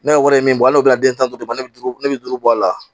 Ne yɛrɛ ye min bɔ ala n'o ye an tan duuru bɛ duuru ne bɛ duuru bɔ a la